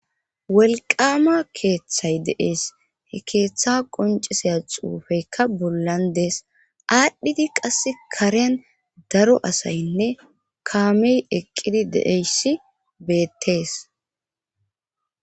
wolqama keeththay dee'es he keeththa qonciseya xuufeykka bollan dees aadhdhidi qasse karean daro asaynne kaamey eqqidi de'eyssi beettees